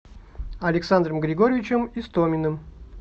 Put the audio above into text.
александром григорьевичем истоминым